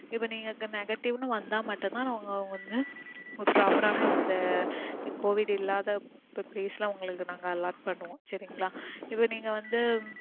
இப்போ நீங்க உங்களுக்கு negative னு வந்தா மட்டும்தான் அவங்க ஒன்னு ஒரு proper ஆன இந்த covid இல்லாத place ல உங்களுக்கு நாங்க allot பண்ணுவோம் சரிங்களா? இப்போ நீங்க வந்து